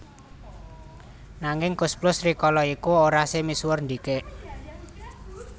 Nanging Koes Plus rikala iku ora se misuwur ndhikik